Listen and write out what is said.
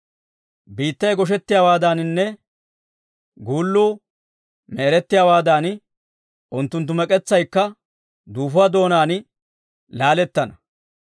Biittay goshetiyaawaadaaninne guullu me"eretiyaawaadan unttunttu mek'etsaykka duufuwaa doonaan laalettana.